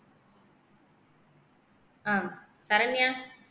ஆஹ் Saranya